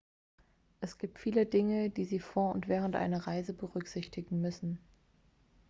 es gibt viele dinge die sie vor und während einer reise berücksichtigen müssen